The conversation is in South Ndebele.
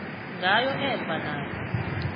ngayo emva nayo